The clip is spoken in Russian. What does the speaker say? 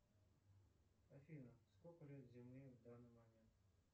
афина сколько лет земле в данный момент